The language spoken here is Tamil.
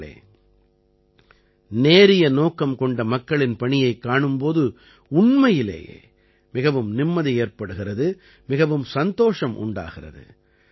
நண்பர்களே நேரிய நோக்கம் கொண்ட மக்களின் பணியைக் காணும் போது உண்மையிலேயே மிகவும் நிம்மதி ஏற்படுகிறது மிகவும் சந்தோஷம் உண்டாகிறது